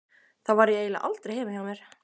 Þá var ég eiginlega aldrei heima hjá mér.